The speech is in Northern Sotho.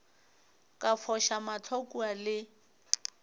ka foša mahlo kua le